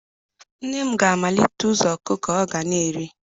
Nne m ga-amalite ịzụ ọkụkọ ọ ga na-ere